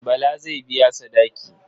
Bala zai biya sadaki.